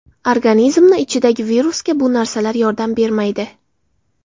Organizmni ichidagi virusga u narsalar yordam bermaydi.